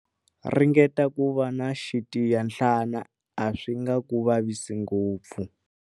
Ringeta ku va na xitiyanhlana, a swi nga ku vavisi ngopfu.